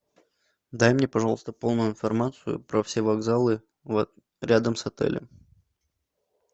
дай мне пожалуйста полную информацию про все вокзалы рядом с отелем